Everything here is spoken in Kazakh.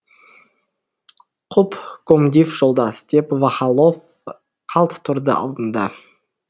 құп комдив жолдас деп вахалов қалт тұрды алдында